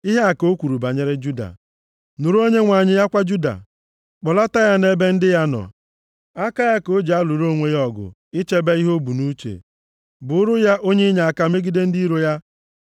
Ihe a ka o kwuru banyere Juda, “Nụrụ, Onyenwe anyị, akwa Juda, kpọlata ya nʼebe ndị ya nọ. Aka ya ka o ji alụrụ onwe ya ọgụ ichebe ihe o bu nʼuche. Bụụrụ ya onye inyeaka megide ndị iro ya.”